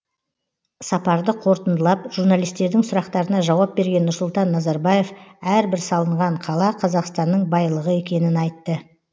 сапарды қорытындылап журналистердің сұрақтарына жауап берген нұрсұлтан назарбаев әрбір салынған қала қазақстанның байлығы екенін айтты